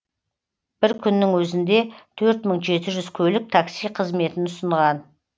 бір күннің өзінде төрт мың жеті жүз көлік такси қызметін ұсынған